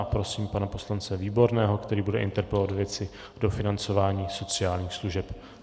A prosím pana poslance Výborného, který bude interpelovat ve věci dofinancování sociálních služeb.